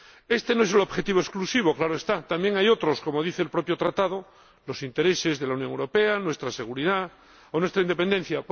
Este no es un objetivo exclusivo, claro está, también hay otros, como dice el propio Tratado los intereses de la Unión Europea, nuestra seguridad o nuestra independencia.